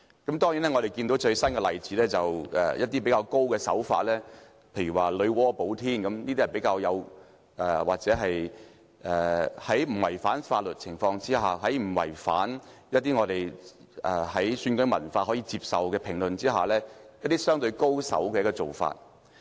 當然，最近有一些例子是較為高明的手法，例如"女媧補天"之說，這是在不違反法律、不違反選舉文化可接受的評論的情況下，相對較為高手的做法。